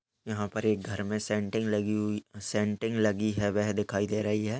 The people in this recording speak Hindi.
यहाँ पर एक घर में सेनटिंग लगी हुई सेनटिंग लगी है। वह दिखाई दे रही है।